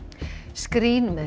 skrín með